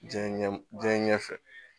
Diɲɛ ɲɛ diɲɛ ɲɛfɛ